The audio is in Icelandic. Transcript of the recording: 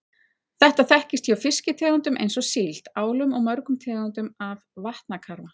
Þetta þekkist hjá fiskitegundum eins og síld, álum og mörgum tegundum af vatnakarfa.